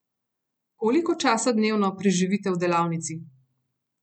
Koliko časa dnevno preživite v delavnici?